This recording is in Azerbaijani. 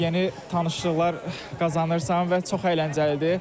Yeni tanışlıqlar qazanırsan və çox əyləncəlidir.